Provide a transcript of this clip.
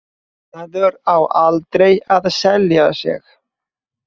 Maður á aldrei að selja sig.